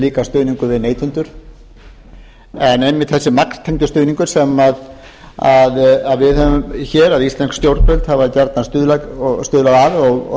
líka stuðningur við neytendur en einmitt þessi magntengdi stuðningur sem við höfum hér eða íslensk stjórnvöld hafa gjarnan stuðlað að og